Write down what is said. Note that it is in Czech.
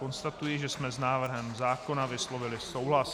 Konstatuji, že jsme s návrhem zákona vyslovili souhlas.